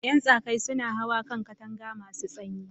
Ƴan tsaƙaƴ suna hawa kan katanga masu sanyi.